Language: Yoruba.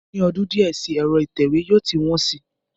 Ní ọdún díẹ̀ sí, ẹ̀rọ ìtẹ̀wé yóò ti wọn si